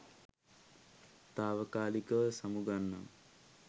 තාවකාලිකව සමුගන්නම්